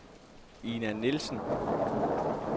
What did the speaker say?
Ina Nielsen